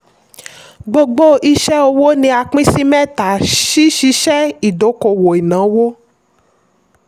gbogbo iṣẹ́-òwò ni a pín sí mẹ́ta: ṣíṣiṣẹ́ ìdókòwò ìnáwó.